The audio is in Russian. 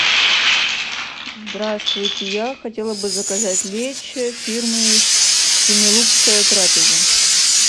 здравствуйте я хотела бы заказать лечо фирмы семилукская трапеза